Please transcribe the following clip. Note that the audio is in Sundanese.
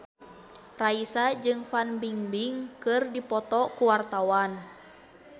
Raisa jeung Fan Bingbing keur dipoto ku wartawan